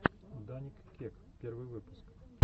даник кек первый выпуск